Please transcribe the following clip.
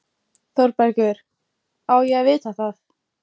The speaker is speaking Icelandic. ÞÓRBERGUR: Á ég að vita það?